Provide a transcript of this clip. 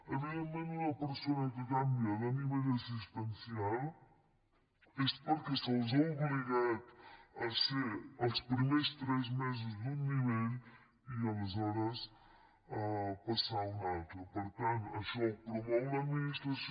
evidentment una persona que canvia de nivell assistencial és perquè se l’ha obligat a ser els primers tres mesos d’un nivell i aleshores a passar a un altre per tant això ho promou l’administració